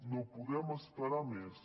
no podem esperar més